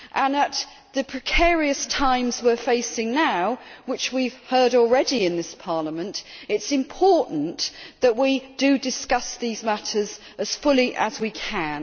At the precarious times we are facing now which we have heard already in this Parliament it is important that we discuss these matters as fully as we can.